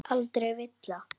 Augun ásaka mig.